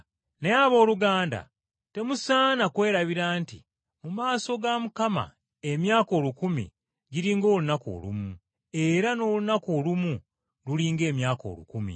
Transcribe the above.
Naye, abooluganda, temusaana, kwerabira nti mu maaso ga Mukama emyaka olukumi giri ng’olunaku olumu, era n’olunaku olumu luli ng’emyaka olukumi.